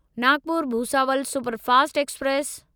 Nagpur Bhusawal superfast express